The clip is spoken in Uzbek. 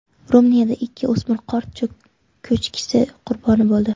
Ruminiyada ikki o‘smir qor ko‘chkisi qurboni bo‘ldi.